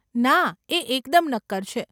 ના, એ એકદમ નક્કર છે.